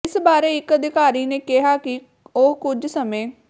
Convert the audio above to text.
ਇਸ ਬਾਰੇ ਇੱਕ ਅਧਿਕਾਰੀ ਨੇ ਕਿਹਾ ਕਿ ਉਹ ਕੁਝ ਸਮੇਂ